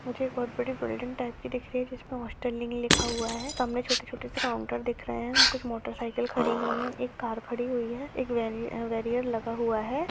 मुझे एक बहुत बड़ी बिल्डिंग टाइप दिख रही हैं जिसमे स्टालिन लिखा हुआ हैं सामने छोटे छोटे से काउन्टर दिख रहा हैं कुछ मोटर साइकिल खड़ी हुई हैं एक कार खड़ी हुई हैं एक बेरीअर लगा हुआ हैं।